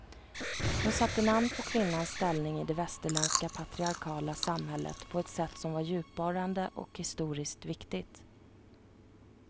Hon satte namn på kvinnans ställning i det västerländska patriarkala samhället på ett sätt som var djupborrande och historiskt viktigt.